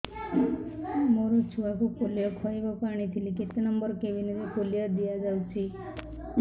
ମୋର ଛୁଆକୁ ପୋଲିଓ ଖୁଆଇବାକୁ ଆଣିଥିଲି କେତେ ନମ୍ବର କେବିନ ରେ ପୋଲିଓ ଦିଆଯାଉଛି